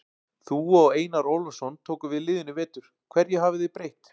Þú og Einar Ólafsson tóku við liðinu í vetur, hverju hafið þið breytt?